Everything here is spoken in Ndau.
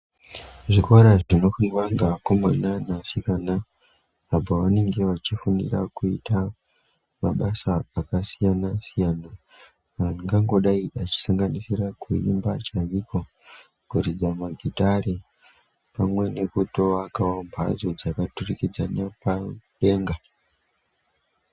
Zvikora zvinofundwa ngevakomana nevasikana, apo vanenge vachifundira kuita mabasa akasiyana-siyana, angangodai echisanganisira, kuimba chaiko ,kuridza magitare, pamwe nekutoakawo mphatso dzakaturikidzana padenga.